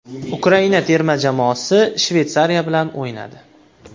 Ukraina terma jamoasi Shveysariya bilan o‘ynadi.